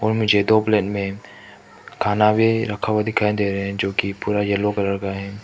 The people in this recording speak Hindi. मुझे दो प्लेट में खाना भी रखा हुआ दिखाई दे रहे है जो कि पूरा येलो कलर का है।